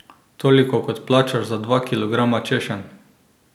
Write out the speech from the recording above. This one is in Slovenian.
Toliko kot plačaš za dva kilograma češenj!